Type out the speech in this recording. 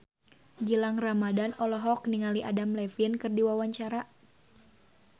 Gilang Ramadan olohok ningali Adam Levine keur diwawancara